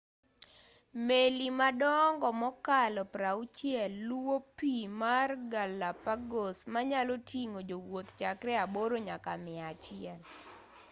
meli madongo mokalo 60 luwo pii mar galapagos manyaloting'o jowuoth chakre aboro nyaka mia achiel